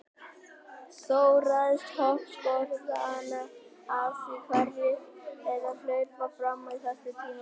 Þó ræðst hop sporðanna af því hverjir þeirra hlaupa fram á þessu tímabili.